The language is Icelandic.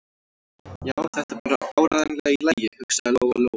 Já, þetta er bara áreiðanlega í lagi, hugsaði Lóa-Lóa.